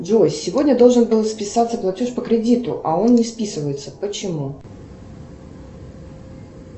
джой сегодня должен был списаться платеж по кредиту а он не списывается почему